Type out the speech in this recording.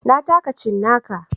Na taka cinnaka.